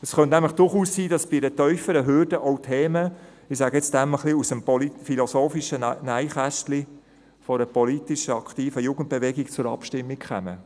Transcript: Es könnte nämlich durchaus sein, dass bei einer tieferen Hürde auch Themen – ich bezeichne diese als «aus dem politisch-philosophischen Nähkästchen» – einer politisch aktiven Jugendbewegung zur Abstimmung kommen.